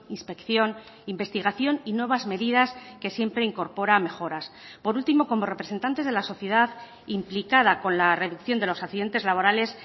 inspección investigación y nuevas medidas que siempre incorpora mejoras por último como representantes de la sociedad implicada con la reducción de los accidentes laborales